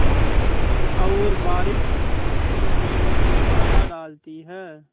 और बारिश उसकी नींद में बाधा डालती है